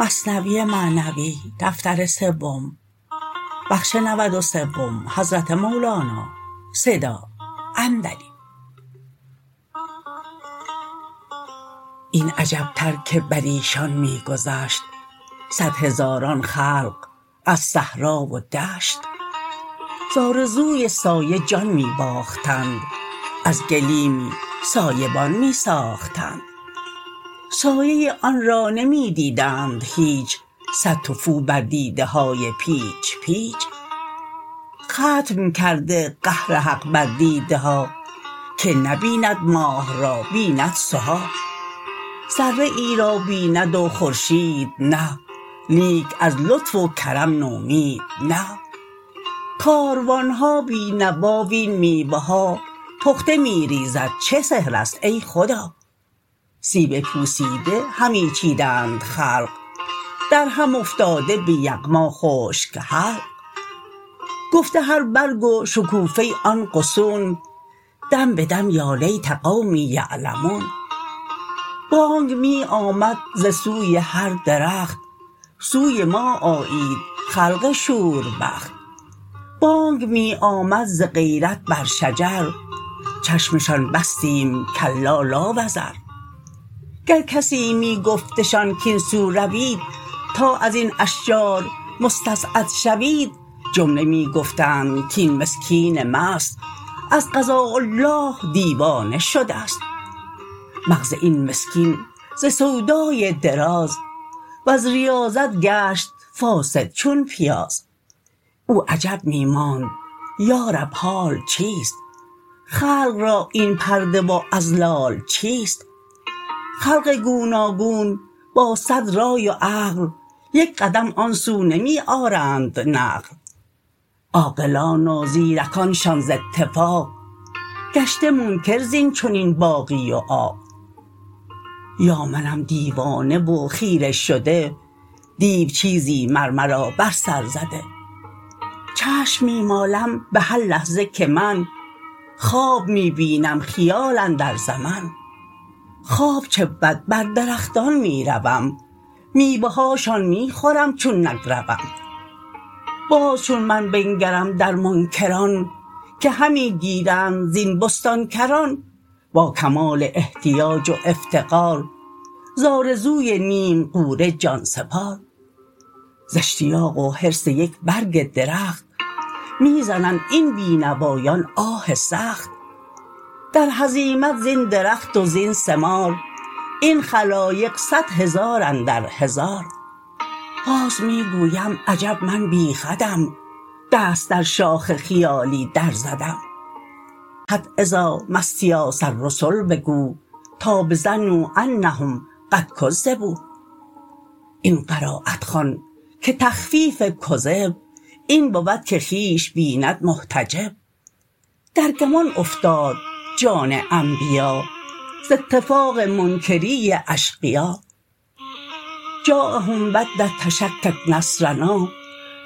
این عجب تر که بریشان می گذشت صد هزاران خلق از صحرا و دشت ز آرزوی سایه جان می باختند از گلیمی سایه بان می ساختند سایه آن را نمی دیدند هیچ صد تفو بر دیده های پیچ پیچ ختم کرده قهر حق بر دیده ها که نبیند ماه را بیند سها ذره ای را بیند و خورشید نه لیک از لطف و کرم نومید نه کاروانها بی نوا وین میوه ها پخته می ریزد چه سحرست ای خدا سیب پوسیده همی چیدند خلق درهم افتاده به یغما خشک حلق گفته هر برگ و شکوفه آن غصون دم بدم یا لیت قوم یعلمون بانگ می آمد ز سوی هر درخت سوی ما آیید خلق شوربخت بانگ می آمد ز غیرت بر شجر چشمشان بستیم کلا لا وزر گر کسی می گفتشان کین سو روید تا ازین اشجار مستسعد شوید جمله می گفتند کین مسکین مست از قضاء الله دیوانه شدست مغز این مسکین ز سودای دراز وز ریاضت گشت فاسد چون پیاز او عجب می ماند یا رب حال چیست خلق را این پرده و اضلال چیست خلق گوناگون با صد رای و عقل یک قدم آن سو نمی آرند نقل عاقلان و زیرکانشان ز اتفاق گشته منکر زین چنین باغی و عاق یا منم دیوانه و خیره شده دیو چیزی مر مرا بر سر زده چشم می مالم به هر لحظه که من خواب می بینم خیال اندر زمن خواب چه بود بر درختان می روم میوه هاشان می خورم چون نگروم باز چون من بنگرم در منکران که همی گیرند زین بستان کران با کمال احتیاج و افتقار ز آرزوی نیم غوره جانسپار ز اشتیاق و حرص یک برگ درخت می زنند این بی نوایان آه سخت در هزیمت زین درخت و زین ثمار این خلایق صد هزار اندر هزار باز می گویم عجب من بی خودم دست در شاخ خیالی در زدم حتی اذا ما استیاس الرسل بگو تا بظنوا انهم قد کذبوا این قرایت خوان که تخفیف کذب این بود که خویش بیند محتجب در گمان افتاد جان انبیا ز اتفاق منکری اشقیا جایهم بعد التشکک نصرنا